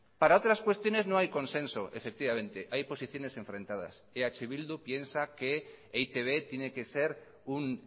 para otras cuestiones no hay consenso efectivamente hay posiciones enfrentadas eh bildu piensa que e i te be tiene que ser un